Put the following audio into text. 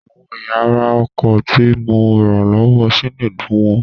Àwọn ẹ̀yà ara ọkọ̀ tí mo rà lọ́wọ́ Chinedu wọ́n.